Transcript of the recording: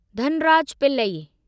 Dhanraj Pillay